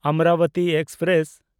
Amravati express